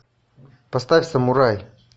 поставь самурай